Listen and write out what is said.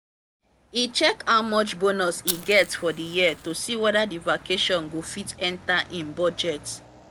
e check how much bonus e get for the year to see whether the vacation go fit enter im budget.